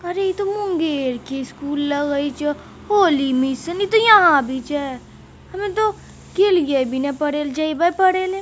अरे इ तो मुंगेर के स्कूल लगै छै होली मिशन इ तो यहा भी छै हमे तो गेलिये भी न पढ़े ला जइबै पढ़े।